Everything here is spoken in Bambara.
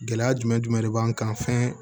Gɛlɛya jumɛn jumɛn de b'an kan fɛn